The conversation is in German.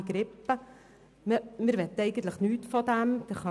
Dies ist anscheinend nicht der Fall.